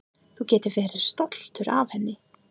Þú getur verið stoltur af henni.